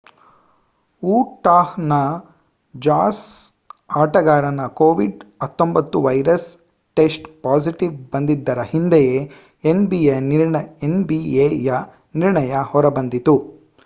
Utah ನ jazz ಆಟಗಾರನ ಕೋವಿಡ್-19 ವೈರಸ್‍‌ ಟೆಸ್ಟ್ ಪಾಸಿಟೀವ್ ಬಂದಿದ್ದರ ಹಿಂದೆಯೇ nbaಯ ನಿರ್ಣಯ ಹೊರಬಂದಿತು